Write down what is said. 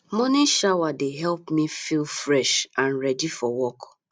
morning shower dey help me feel fresh and ready for work